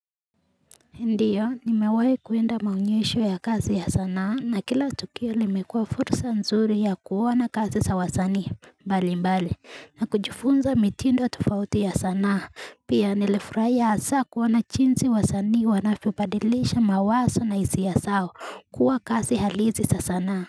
Ndiyo, nimewahi kwenda maonyesho ya kazi ya sanaa na kila tukio limekuwa fursa nzuri ya kuona kazi za wasanii mbalimbali na kujifunza mitindo ya tofauti ya sanaa pia nilifurahiya haswa kuona jinsi wasanii wanavyodilisha mawazo na hisia zao. Huwa kazi halisi sa sanaa.